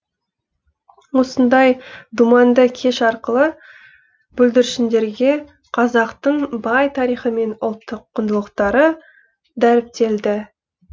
осындай думанды кеш арқылы бүлдіршіндерге қазақтың бай тарихы мен ұлттық құндылықтары дәріптелді